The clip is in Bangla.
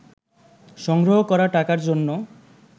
সংগ্রহ করা টাকার জন্য